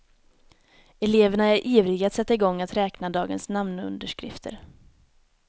Eleverna är ivriga att sätta igång att räkna dagens namnunderskrifter.